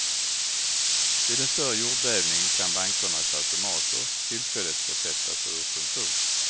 Vid en större jordbävning kan bankernas automater tillfälligt försättas ur funktion.